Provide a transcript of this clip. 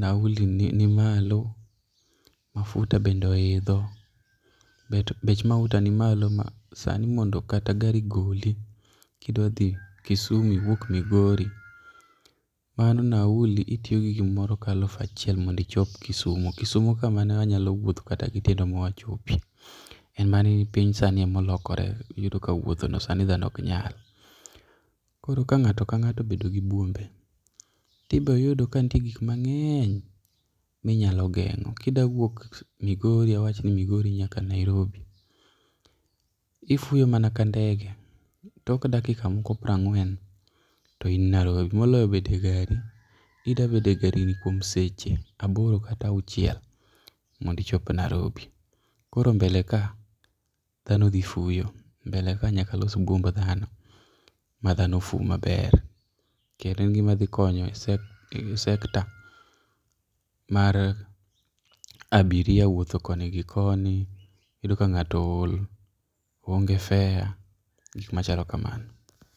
nauli ni malo mafuta bende oidho bech mafuta ni malo ma sani mondo kata gari goli kidwa dhi Kisumu iwuok Migori mano nauli itiyo gi gimoro ka alufu achiel mondo ichop Kisumu, Kisumo ka ma ne wanyalo wuotho kata gi tiendwa ma wachopi. En mana ni piny sani ema olokore iyudo ka wuothono sani dhano ok nyal. Koro ka ng'ato ka ng'ato obedo gi buombe to ibiro yudo kanitie gik mang'eny ma inyalo geng'o. Ka idwa wuok awachi ni Migori nyaka Nairobi, ifuyo mana ka ndege tok dakika moko piero ang'wen to in Nairobi moloyo bet e gari. Idwa bet e gari kuom seche aboro kata auchiel mondo ichop Nairobi. Koro mbele ka dhano dhi fuyo. Mbele ka nyaka alos buomb ma dhano fu maber kendo gimas dhi konyo e [çs]sector mar abiria wuotho koni gi koni. Iyudo ka ng'ato ool oonge gi fare machalo kamano.